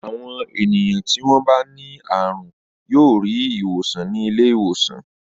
Àwọn ènìyàn tí wọ́n bá ní àrùn yóò rí ìwòsàn ní ilé-ìwòsàn.